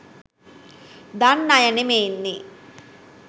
දන්න අය නෙමේනේ.